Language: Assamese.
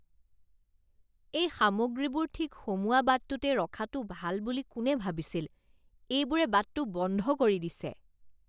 এই সামগ্ৰীবোৰ ঠিক সোমোৱা বাটটোতেই ৰখাটো ভাল বুলি কোনে ভাবিছিল? এইবোৰে বাটটো বন্ধ কৰি দিছে।